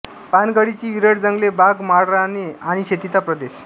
पानगळीची विरळ जंगले बाग माळराने आणि शेतीचा प्रदेश